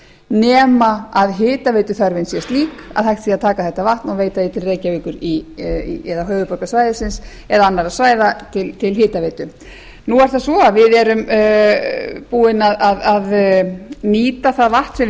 nema að hitaveituþörfin sé slík að hægt sé að taka þetta vatn og veita því til reykjavíkur eða til höfuðborgarsvæðisins og annarra svæða til hitaveitu nú er það svo að við erum búin að nýta það vatn sem við